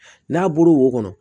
N'a bɔra wo kɔnɔ